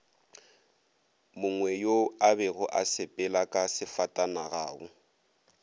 mongweyo abego a sepelaka sefatanagao